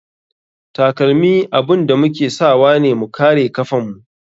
Takalmi abun da muke sawane mu kare kafan mu.